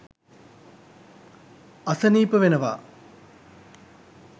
අසනීප වෙනවා.